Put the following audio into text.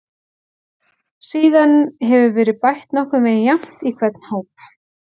Síðan hefur verið bætt nokkurn veginn jafnt í hvern hóp.